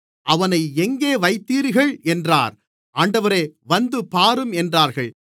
அவனை எங்கே வைத்தீர்கள் என்றார் ஆண்டவரே வந்து பாரும் என்றார்கள்